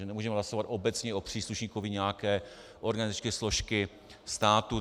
My nemůžeme hlasovat obecně o příslušníkovi nějaké organizační složky státu.